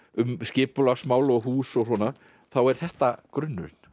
um skipulagsmál og hús og svona þá er þetta grunnurinn